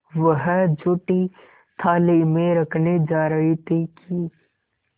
वह जूठी थाली में रखने जा रही थी कि